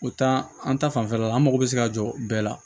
O taa an ta fanfɛla la an mago bɛ se ka jɔ bɛɛ la